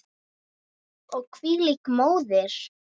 Og hvílík móðir!